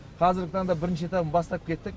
қазіргі таңда бірінші этабын бастап кеттік